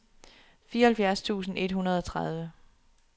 fireoghalvfjerds tusind et hundrede og tredive